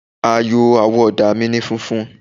Àyò àwọ̀ ọ̀dà mi ni funfun.